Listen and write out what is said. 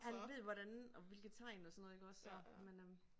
Han ved hvordan og hvilke tegn og sådan noget iggås så men øh